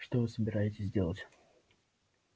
что вы собираетесь делать